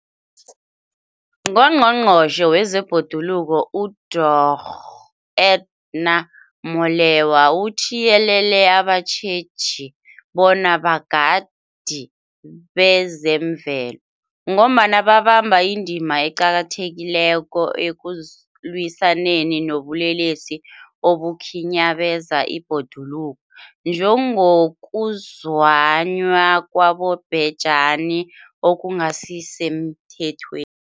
UNgqongqotjhe wezeBhoduluko uDorh Edna Molewa uthiyelele abatjheji bona bogadi bezemvelo, ngombana babamba indima eqakathekileko ekulwisaneni nobulelesi obukhinyabeza ibhoduluko, njengokuzunywa kwabobhejani okungasisemthethweni.